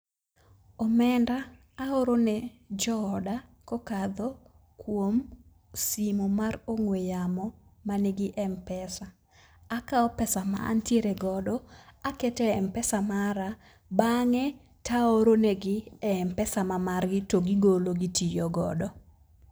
Omenda aoro ne jooda kokadho kuom simo mar ong'we yamo manigi mpesa. Akao pesa ma antiere godo akete mpesa mara, bang'e taoro e mpesa ma margi to gigolo gitiyo godo.